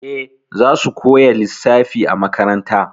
Eh, zasu koya lissafi a makaranta.